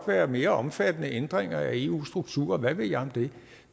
være mere omfattende ændringer af eu strukturer eller hvad ved jeg